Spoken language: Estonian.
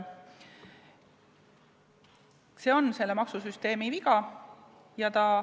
See on selle maksusüsteemi viga.